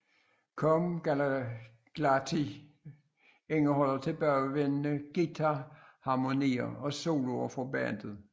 Come Clarity indeholder tilbagevendene guitarharmonier og soloer fra bandet